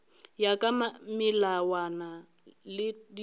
ya ka melawana le ditaelo